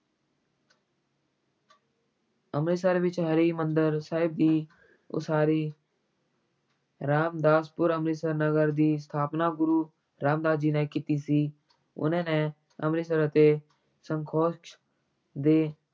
ਅੰਮ੍ਰਿਤਸਰ ਵਿੱਚ ਹਰਿਮੰਦਰ ਸਾਹਿਬ ਦੀ ਉਸਾਰੀ ਰਾਮਦਾਸਪੁਰ ਅੰਮ੍ਰਿਤਸਰ ਨਗਰ ਦੀ ਸਥਾਪਨਾ ਗੁਰੂ ਰਾਮਦਾਸ ਜੀ ਨੇ ਕੀਤੀ ਸੀ, ਉਨ੍ਹਾਂ ਨੇ ਅੰਮ੍ਰਿਤਸਰ ਅਤੇ ਸੰਤੋਖ ਦੇ